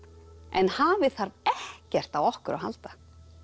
en hafið þarf ekkert á okkur að halda